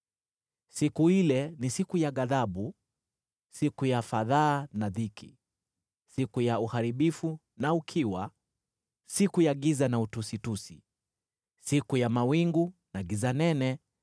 Siku ile ni siku ya ghadhabu, siku ya fadhaa na dhiki, siku ya uharibifu na ukiwa, siku ya giza na utusitusi, siku ya mawingu na giza nene,